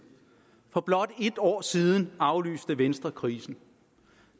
for blot et år siden aflyste venstre krisen